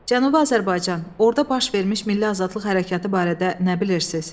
Cənubi Azərbaycan, orda baş vermiş milli azadlıq hərəkatı barədə nə bilirsiz?